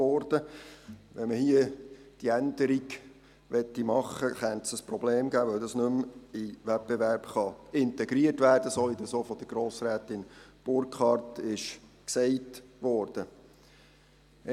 Wollte man jetzt hier eine Änderung vornehmen, könnte das zu einem Problem führen, weil diese nicht mehr in den Wettbewerb integriert werden kann, so wie es auch von Grossrätin Burkhard gesagt worden ist.